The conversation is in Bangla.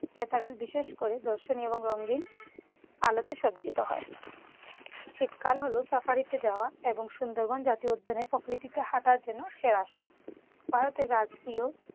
কেটারেল বিশেষ করে দর্শনীয় ও রঙিন আলোতে সজ্জিত হয়। শীতকাল হলো সাফারিতে যাওয়া এবং সুন্দরবন জাতীয় উদ্যানের প্রকৃতিতে হাঁটার জন্য সেরা সময়।